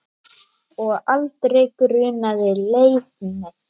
Og aldrei grunaði Leif neitt.